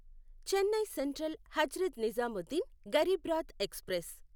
Chennai central Hazrat Nizamuddin Garib Rath express